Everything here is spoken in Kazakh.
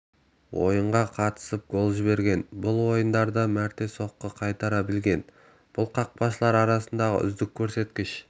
ойынға қатысып гол жіберген бұл ойындарда мәрте соққы қайтара білген бұл қақпашылар арасындағы үздік көрсеткіш